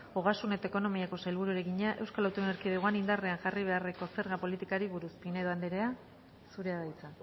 ogasun eta ekonomiako sailburuari egina eaen indarrean jarri beharreko zega politikari buruz pinedo andreak zurea da hitza